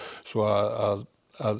svo að